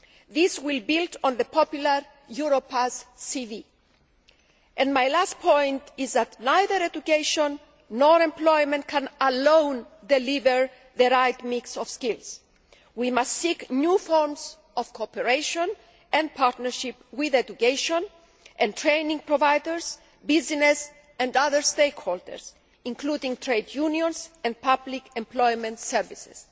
This will build on the popular Europass CV. My last point is that neither education nor employment alone can deliver the right mix of skills. We must seek new forms of cooperation and partnership with education and training providers, business and other stakeholders, including trade unions and public employment services.